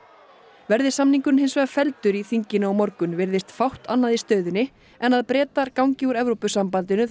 verði samningurinn hins vegar felldur í þinginu á morgun virðist fátt annað í stöðunni en að Bretar gangi úr Evrópusambandinu þann